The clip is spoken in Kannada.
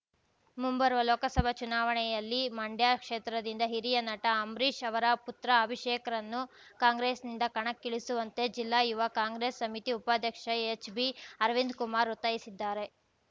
ಮುಂಬರುವ ಲೋಕಸಭಾ ಚುನಾವಣೆಯಲ್ಲಿ ಮಂಡ್ಯ ಕ್ಷೇತ್ರದಿಂದ ಹಿರಿಯ ನಟ ಅಂಬರೀಷ್‌ ಅವರ ಪುತ್ರ ಅಭಿಷೇಕ್‌ರನ್ನು ಕಾಂಗ್ರೆಸ್‌ನಿಂದ ಕಣಕ್ಕಿಳಿಸುವಂತೆ ಜಿಲ್ಲಾ ಯುವ ಕಾಂಗ್ರೆಸ್‌ ಸಮಿತಿ ಉಪಾಧ್ಯಕ್ಷ ಹೆಚ್‌ಬಿ ಅರವಿಂದ್‌ಕುಮಾರ್‌ ಒತ್ತಾಯಿಸಿದ್ದಾರೆ